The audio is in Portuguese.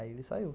Aí ele saiu.